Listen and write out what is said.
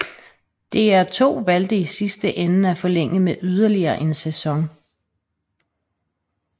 DR2 valgte i sidste ende at forlænge med yderligere en sæson